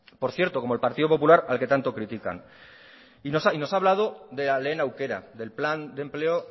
por cierto como el partido popular al que tanto critican y nos ha hablado de lehen aukera del plan de empleo